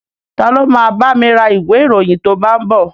Ta ló ma bámi ra ìwé ìròyìn tó bá ń bọ̀?